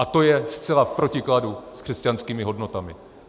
A to je zcela v protikladu s křesťanskými hodnotami.